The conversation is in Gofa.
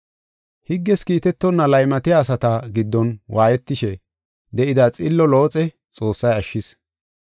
Higges kiitetonna laymatiya asata giddon waayetishe de7ida xillo Looxe Xoossay ashshis.